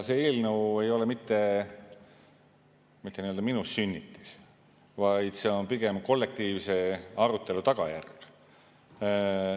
See eelnõu ei ole mitte nii-öelda minu sünnitis, vaid see on pigem kollektiivse arutelu tulemus.